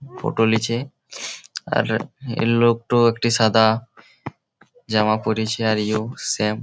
Photo লিছে আর এই লোকতো একটা সাদা জামা পরিছে আর এও সেম ।